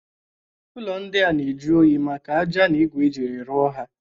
Ụlọ ndịa dịri ajụ onyi maka aja na igu eji rụọ ha.